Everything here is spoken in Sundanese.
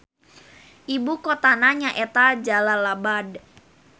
Ibu kotana nyaeta Jalalabad.